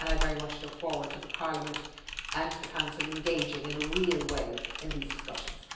I very much look forward to Parliament and the Council engaging in a real way in these discussions.